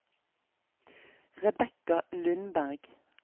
Rebecca Lundberg